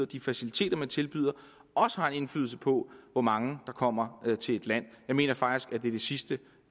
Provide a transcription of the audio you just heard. de faciliteter man tilbyder også har en indflydelse på hvor mange der kommer til et land jeg mener faktisk at det er det sidste